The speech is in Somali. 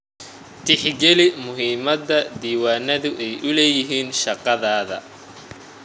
Tixgeli muhiimada diiwaanadu u leeyihiin shaqadaada.